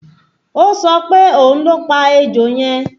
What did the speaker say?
Ó sọ pé òun ló pa ejò yẹn